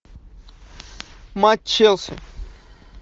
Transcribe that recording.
матч челси